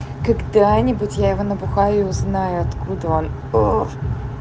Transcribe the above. когда-нибудь я его набухаю и узнаю откуда он мм